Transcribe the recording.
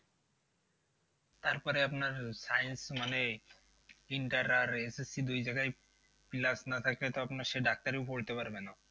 তারপরে আপনার science মানে inter আর SSC দুই জায়গায় না থাকলে তো আপনার সে ডাক্তারিও পড়তে পারবে না।